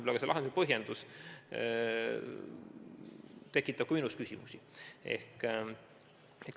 Selle lahenduse põhjendus tekitab ka minus küsimusi.